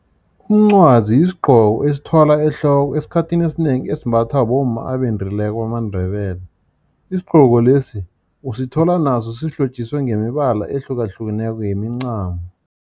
Umncwazi yisigqoko esithwalwa ehloko, esikhathini esinengi esimbathwa bomma abendileko bamaNdebele. Isigqoko lesi usithola naso sihlotjiswe ngemibala ehlukahlukeneko yemincamo.